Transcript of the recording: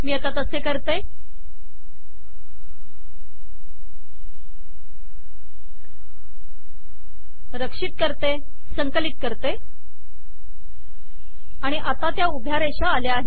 मी आता तसे करते रक्षित करते संकलित करते आणि आता त्या उभ्या रेषा आल्या आहेत